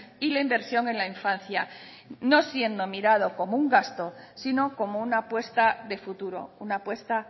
y la inversión en la infancia no siendo mirado como un gasto sino como una apuesta de futuro una apuesta